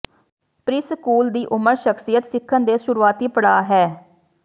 preschool ਦੀ ਉਮਰ ਸ਼ਖ਼ਸੀਅਤ ਸਿੱਖਣ ਦੇ ਸ਼ੁਰੂਆਤੀ ਪੜਾਅ ਹੈ